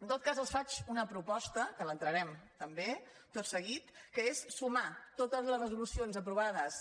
en tot cas els faig una proposta que l’entrarem també tot seguit que és sumar totes les resolucions aprovades